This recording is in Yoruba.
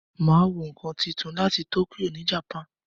Máa wo ǹkan túntún láti Tokyo ni Japan.